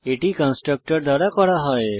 এটি কনস্ট্রাক্টর দ্বারা করা হয়